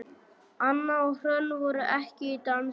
Anna og Hrönn voru ekki í dansi.